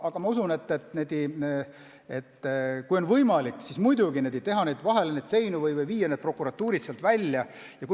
Aga ma usun, et kui oleks võimalik, siis muidugi võiks neis majades seinu vahele ehitada või prokuratuurid sealt välja viia.